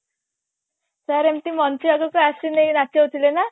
sir ଏମତି ମଞ୍ଚ ଆଗକୁ ଆସିଲେ ନଚୋଉଥିଲେ ନା